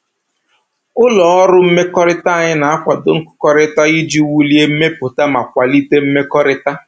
Ụlọ ọrụ mmekọrịta anyị na-akwado nkụkọrịta iji wulie mmepụta ma kwalite mmekọrịta